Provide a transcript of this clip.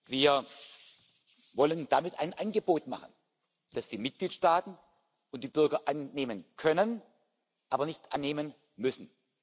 Wir wollen damit ein Angebot machen, das die Mitgliedstaaten und die Bürger annehmen können, aber nicht annehmen müssen.